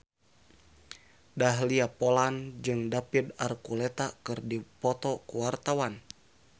Dahlia Poland jeung David Archuletta keur dipoto ku wartawan